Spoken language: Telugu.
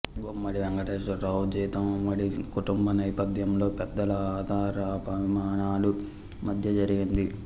గుమ్మడి వెంకటేశ్వరరావు జీవితం ఉమ్మడి కుటుంబ నేపథ్యంలో పెద్దల ఆదరాభిమానాల మధ్య జరిగింది